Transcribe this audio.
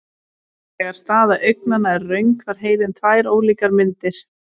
Þegar staða augnanna er röng fær heilinn tvær ólíkar myndir.